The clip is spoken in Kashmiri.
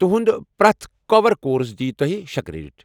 تُہُنٛد پرٛٮ۪تھ کور کورس دی تۄہہ شےٚ کریڈٹ ۔